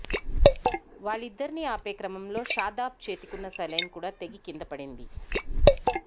వాళ్లిద్దరిని ఆపే క్రమంలో షాదాబ్ చేతికున్న సెలైన్ కూడా తెగి కింద పడింది